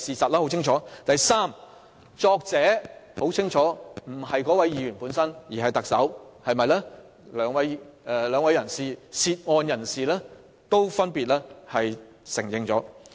第三，很明顯，文件的撰寫人不是該議員而是特首，這一點兩位涉案人士都已經分別承認。